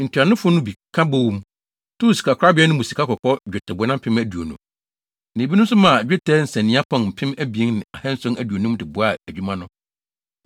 Ntuanofo no bi ka bɔɔ mu, too sikakorabea no mu sikakɔkɔɔ nnwetɛbona mpem aduonu (20,000), na ebinom nso maa dwetɛ nsania pɔn mpem abien ne ahanson aduonum de boaa adwuma no.